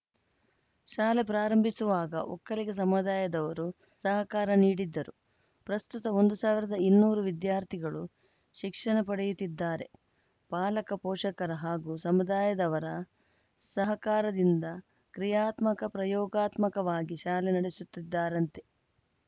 ಶಾಲೆ ಪ್ರಾರಂಭಿಸುವಾಗ ಒಕ್ಕಲಿಗ ಸಮುದಾಯದವರು ಸಹಕಾರ ನೀಡಿದ್ದರು ಪ್ರಸ್ತುತ ಒಂದು ಸಾವಿರದ ಇನ್ನೂರು ವಿದ್ಯಾರ್ಥಿಗಳು ಶಿಕ್ಷಣ ಪಡೆಯುತ್ತಿದ್ದಾರೆ ಪಾಲಕ ಪೋಷಕರ ಹಾಗೂ ಸಮುದಾಯದವರ ಸಹಕಾರದಿಂದ ಕ್ರಿಯಾತ್ಮಕ ಪ್ರಯೋಗಾತ್ಮಕವಾಗಿ ಶಾಲೆ ನಡೆಸುತ್ತಿದ್ದಾರಂತೆ